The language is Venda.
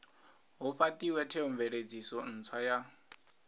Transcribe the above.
hu fhatiwe theomveledziso ntswa ya